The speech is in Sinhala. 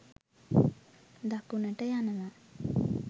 දකුණට යනවා